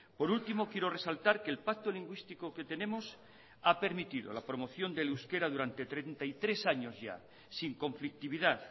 por último quiero resaltar que el pacto lingüístico que tenemos ha permitido la promoción del euskera durante treinta y tres años ya sin conflictividad